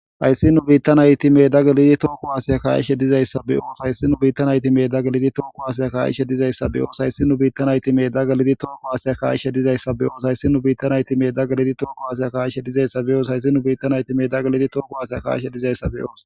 Hayisi nu bitta nayiti meda gelidi toho ku'aseya ka'ishe dizayisa be'os hayisi nu bitta nayiti meda gelidi toho ku'aseya ka'ishe dizayisa be'os hayisi nu bitta nayiti meda gelidi toho ku'aseya ka'ishe dizayisa be'os hayisi nu bitta nayiti meda gelidi toho ku'aseya ka'ishe dizayisa be'os.